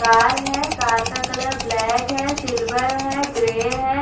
Car है car का colour black है सिल्वर है ग्रे है।